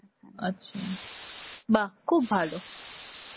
আচ্ছা, বাহ্ খুব ভালো.